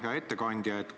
Hea ettekandja!